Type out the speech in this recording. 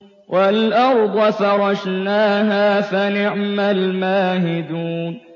وَالْأَرْضَ فَرَشْنَاهَا فَنِعْمَ الْمَاهِدُونَ